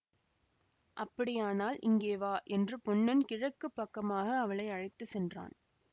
அப்படியானால் இங்கே வா என்று பொன்னன் கிழக்கு பக்கமாக அவளை அழைத்து சென்றான்